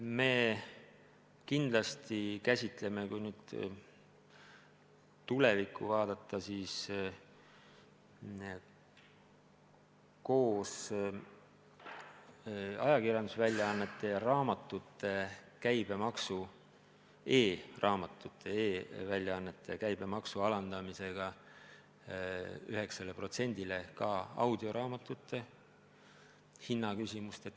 Me kindlasti käsitleme, kui nüüd tulevikku vaadata, koos e-ajakirjandusväljaannete ja e-raamatute käibemaksu alandamisega 9%-le ka audioraamatute hinna küsimust.